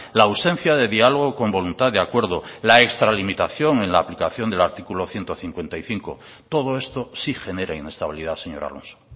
la ausencia de diálogo con voluntad de acuerdo la extralimitación en la aplicación del artículo ciento cincuenta y cinco todo esto sí genera inestabilidad señor alonso